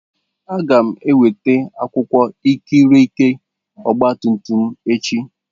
Aga m enweta akwụkwọ ikikere ọgba tum tum m echi